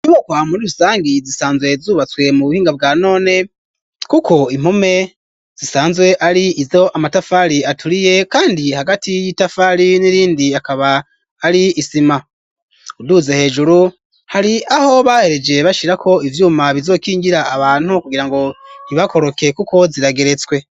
Ibokwa muri rusangi zisanzwe zubatswe mu buhinga bwa none kuko impume zisanzwe ari izo amatafari aturiye kandi hagati y'itafari n'irindi akaba ari isima uruze hejuru hari aho bahereje bashyira ko ivyuma bizokingira abantu kugira ngo ntibakoroke kuko zirageretswe.